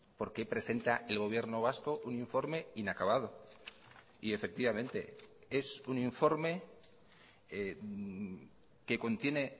por qué presenta el gobierno vasco un informe inacabado y efectivamente es un informe que contiene